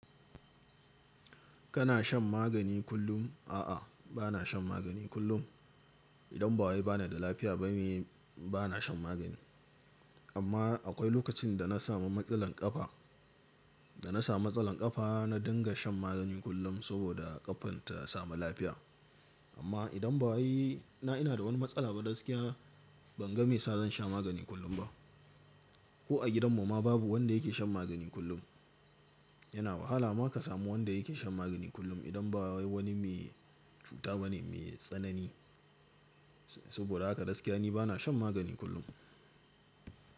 Kana shan magani kullum? A'a, ba na shan magani kullum. Idan ba wai ba na da lafiya bane ba na shan magani. Amma akwai lokacin da na sami matsalar kafa, da na samu matsalar kafa na dinga shan magani kullum saboda ƙafan ta samu lafiya. Amma idan ba wai na ina da wani matsala ba gaskiya, ban ga me sa zan sha magani kullum ba. Ko a gidanmu ma babu wanda yake shan magani kullum. Yana wahala ma ka samu wanda yake shan magani kullum idan ba wani mai cuta bane, mai tsanani. Saboda haka gaskiya ni ba na shan magani kullum.